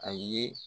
A ye